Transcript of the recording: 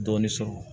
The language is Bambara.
Dɔɔni sɔrɔ